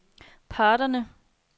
parterne